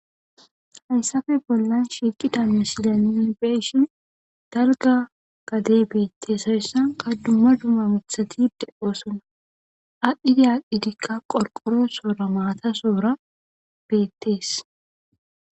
Hayssafe bollan shiqida misilyani be7ishin dalga gadey beettes hayssan qaddumma duma mithati deoosona adhdhidi aadhdhidikka qorqoro soora maata soora beettees.